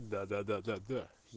да-да-да да да